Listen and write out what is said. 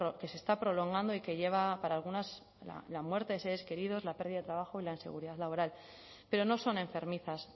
que se está prolongando y que lleva para algunas la muerte de seres queridos la pérdida de trabajo y la inseguridad laboral pero no son enfermizas